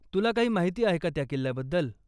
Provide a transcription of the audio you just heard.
तूला काही माहिती आहे का, त्या किल्ल्याबद्दल?